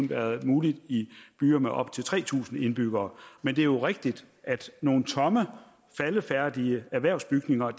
været muligt i byer med op til tre tusind indbyggere men det er jo rigtigt at nogle tomme faldefærdige erhvervsbygninger